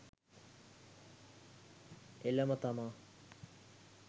එළම තමා